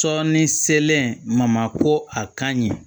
Sɔɔni selen ma ma ko a kaɲi